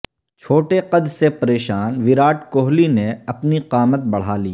چھوٹے قد سے پریشان ویرات کوہلی نے اپنی قامت بڑھا لی